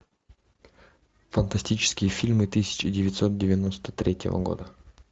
фантастические фильмы тысяча девятьсот девяносто третьего года